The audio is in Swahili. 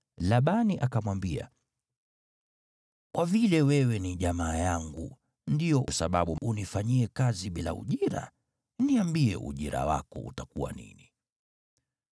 Labani akamwambia, “Kwa vile wewe ni jamaa yangu, ndiyo sababu unifanyie kazi bila ujira? Niambie ujira wako utakuwa nini.”